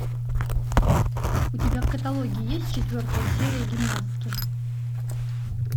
у тебя в каталоге есть четвертая серия гимнастки